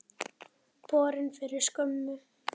Borin fyrir skömmu.